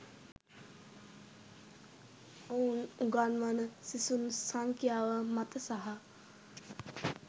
ඔවුන් උගන්වන සිසුන් සංඛ්‍යාව මත සහ